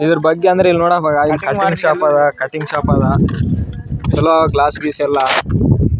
ಇದ್ರ ಬಗ್ಗೆ ಅಂದ್ರೆ ಇಲ್ಲಿ ನೋಡಮಗ ಇಲ್ಲಿ ಕಟ್ಟಿಂಗ್ ಶೋಪ್ ಅದ ಕಟ್ಟಿಂಗ್ ಶೋಪ್ ಅದ ಚಲೋ ಗ್ಲಾಸ್ ಗ್ಲೀಸ್ ಎಲ್ಲ.